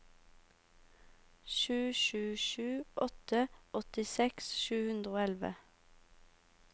sju sju sju åtte åttiseks sju hundre og elleve